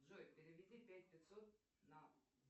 джой переведи пять пятьсот на